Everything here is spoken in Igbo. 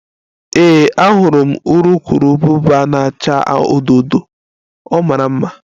Ee, ahụrụ m urukurubụba na-acha odo odo, ọ mara mma